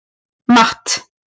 Matt